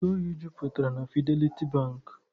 Ntụ oyi jupụtara na Fideliti Bankị.